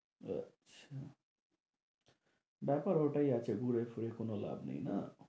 আচ্ছা, ব্যাপার ওটাই আছে ঘুরে ফিরে কোন লাভ নেই না?